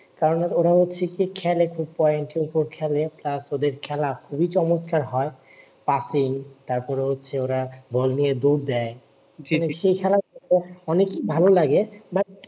কারণ ওরা হচ্ছে কি খেলে খুব পয়েন্টের উপর খেলে আহ ওদের খেলা খুবি চমৎকার হয় পাফিং তারপরে হচ্ছে ওরা বল নিয়ে দৌড় দেয় সে খেলা অনেক ভালো লাগে